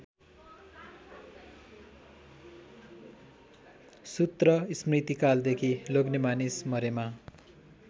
सूत्रस्मृतिकालदेखि लोग्नेमानिस मरेमा